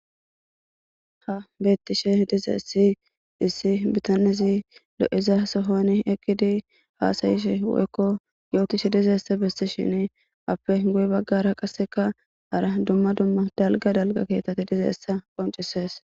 ha beettishe dizayissi issi bitanezi lo'iza sohoni ekkidi haasayishe woykko yootishe dizeessa bistishin appe guy baggara qasseka ara dumma dumma dalga dalga keetati dizayissa qoncises